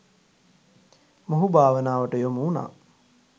මොහු භාවනාවට යොමු වුණා.